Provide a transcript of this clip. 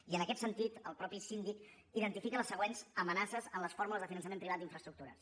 i en aquest sentit el mateix síndic identifica les següents amenaces en les fórmules de finançament privat d’infraestructures